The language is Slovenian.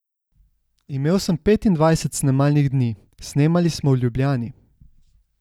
Imel sem petindvajset snemalnih dni, snemali smo v Ljubljani.